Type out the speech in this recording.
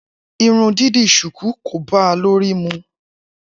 Irun dídì ṣùkú kò báa lórí mu.